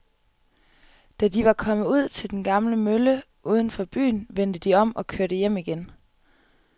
Da de var kommet ud til den gamle mølle uden for byen, vendte de om og kørte hjem igen.